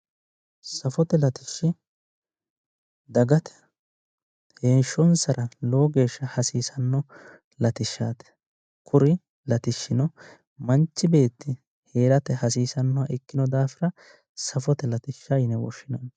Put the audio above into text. Safote latishshi dagate heeshonsara lowo geesha hasisano latishshaati, kuri latishshino manchi beeti haarate hasiisanoha ikino dafira safote latishsha yine woshinanni